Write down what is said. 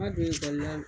Ma don ekɔli la